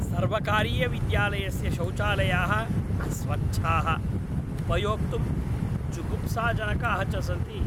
प्रेक्षकाः हर्षोद्गारार्थं सङ्केतान् प्राप्नुवन्ति स्म तथा च तत् अतीव कृत्रिमं दृश्यते स्म इति इदं स्पष्टम् अस्ति।